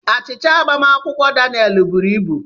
Achịcha agbamakwụkwọ Daniel buru ibu.